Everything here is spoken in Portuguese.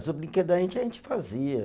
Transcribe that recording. O brinquedo da gente, a gente fazia.